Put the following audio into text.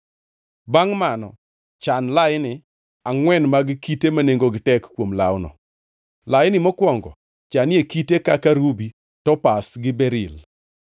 Bangʼ mano, chan laini angʼwen mag kite ma nengogi tek kuom lawno. Laini mokwongo chanie kite kaka rubi, topaz gi beril;